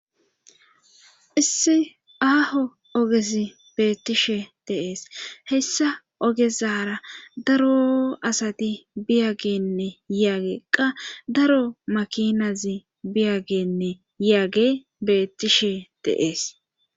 Issi aaho ogesi beettishe deees hessa ogezara daro asati biyagenne yaageqqa daro makinazi biyagenne yaage beettishe deees